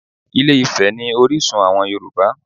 Ilé-Ifẹ̀ ni orísun àwọn Yorùbá